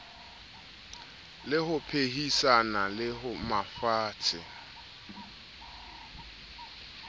le ho phehisana le mafatshe